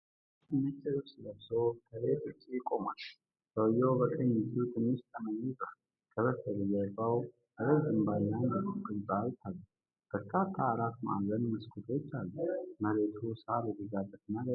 አንድ ወጣት ነጭ ልብስ ለብሶ፣ ከቤት ውጭ ቆሟል። ሰውዬው በቀኝ እጁ ትንሽ ጠመኔ ይዟል። ከበስተጀርባ ረጅም ባለ አንድ ፎቅ ህንፃ ይታያል፤ በርካታ አራት ማዕዘን መስኮቶች አሉት። መሬቱ ሳር የበዛበትና ደረቅ ነው።